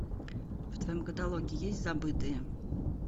в твоем каталоге есть забытые